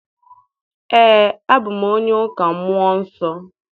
Ee, abụ m onye ụka mmụọ nsọ.